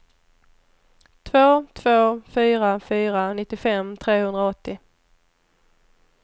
två två fyra fyra nittiofem trehundraåttio